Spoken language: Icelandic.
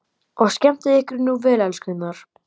Og skemmtið ykkur nú vel, elskurnar!